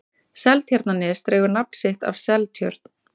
seltjarnarnes dregur nafn sitt af seltjörn